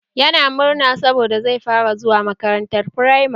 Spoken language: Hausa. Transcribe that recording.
Yana murna saboda zai fara zuwa makaranta firamare